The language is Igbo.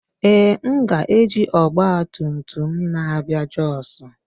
Ee, m ga-eji ọgba tum tum na-abịa Jos